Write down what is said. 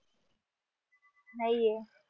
नाहीये